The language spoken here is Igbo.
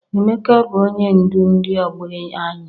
Emeka bụ onye ndu ndi ọgbọ anyị.